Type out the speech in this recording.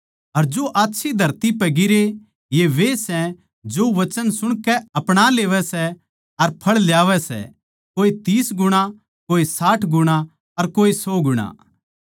अर जो आच्छी धरती पै बीज गिरे ये वे सै जो वचन सुणकै अपणा लेवैं सै अर फळ ल्यावै सै कोई तीस गुणा कोई साठ गुणा अर कोई सौ गुणा